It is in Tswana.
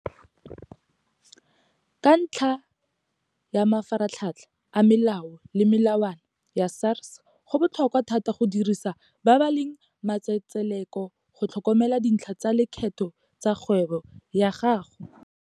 Ka ntlha ya mafaratlhatlha a melao le melawana ya SARS go botlhokwa thata go dirisa ba ba leng matsetseleko go tlhokomela dintlha tsa leketho tsa kgwebo ya gago.